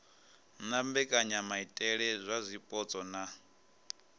na mbekanyamaitele dza zwipotso na